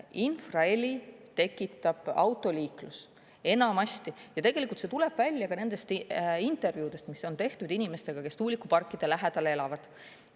Infraheli tekitab autoliiklus enamasti ja tegelikult see tuleb välja ka nendest intervjuudest, mis on tehtud inimestega, kes tuulikuparkide lähedal elavad.